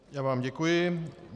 Já vám děkuji.